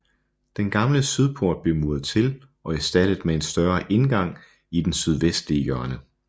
Den gamle sydport blev muret til og erstattet med en større indgang i den sydvestlige hjørne